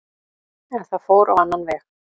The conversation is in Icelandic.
En það fór á annan veg.